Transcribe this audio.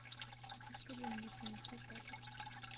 хочу чтобы мне принесли тапочки